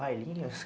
Bailinhos?